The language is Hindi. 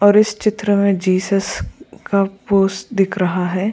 और इस चित्र में जीसस का पोस्ट दिख रहा है।